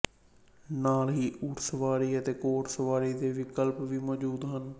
ਨਾਲ ਹੀ ਊਂਠਸਵਾਰੀ ਅਤੇ ਘੋੜਸਵਾਰੀ ਦੇ ਵਿਕਲਪ ਵੀ ਮੌਜੂਦ ਹਨ